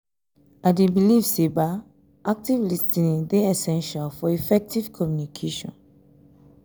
i dey believe say um active um lis ten ing dey essential for effective um communication.